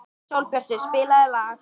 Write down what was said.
Sólbjartur, spilaðu lag.